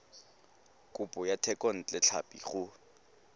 kopo ya thekontle tlhapi go